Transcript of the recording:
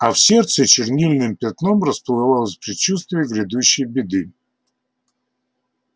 а в сердце чернильным пятном расплывалось предчувствие грядущей беды